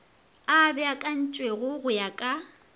a beakantšwego go ya ka